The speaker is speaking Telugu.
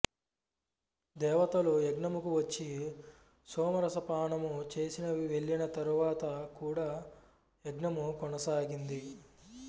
దేవతలు యజ్ఞముకు వచ్చి సోమరసపానము చేసి వెళ్ళిన తరువాత కూడా యజ్ఞము కొనసాగింది